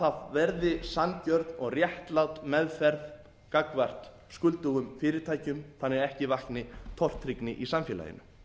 það verði sanngjörn og réttlát meðferð gagnvart skuldugum fyrirtækjum þannig að ekki vakni tortryggni í samfélaginu